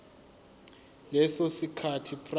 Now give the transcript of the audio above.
leso sikhathi prior